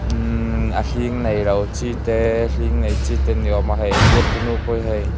immmh a hling neilo chi te a hling nei chi te ni awm a hei a zuar tu nu pawh hi hei--